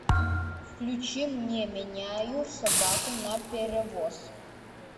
включи мне меняю собаку на перевоз